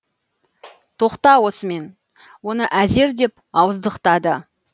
тоқта осымен оны әзер деп ауыздықтады